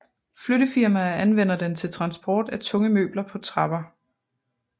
Flyttefirmaer anvender den til transport af tunge møbler på trapper